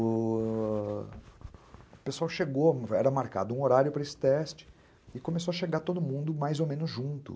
O... o pessoal chegou, era marcado um horário para esse teste e começou a chegar todo mundo mais ou menos junto.